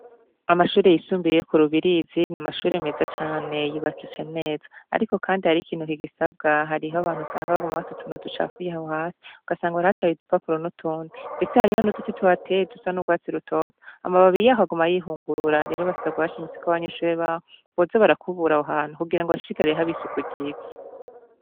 Amashure yisumbuye yo ku Rubirizi n'amashure meza cane yubakitse neza, ariko kandi hariho ikintu kigisabwa hariho abantu usanga baguma bata utuntu ducafuye aho hasi ugasanga barahataye udupapuro n'utundi, ndetse hariho n'uduti tuhateye dusa n'urwatsi rutoto, amababi yaho aguma yihungurura, rero basabwa bashimitse ko abanyunshure baho boza barakubura aho hantu kugira ngo hashishikare haba isuku ryiza.